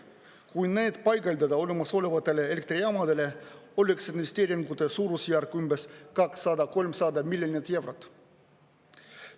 Kui need paigaldada olemasolevatele elektrijaamadele, oleks investeeringute suurusjärk umbes 200–300 miljonit eurot.